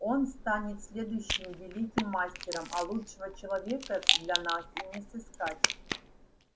и он станет следующим великим мастером а лучшего человека для нас и не сыскать